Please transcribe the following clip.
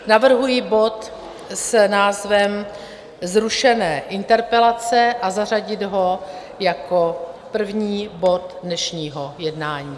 Navrhuji bod s názvem Zrušené interpelace a zařadit ho jako první bod dnešního jednání.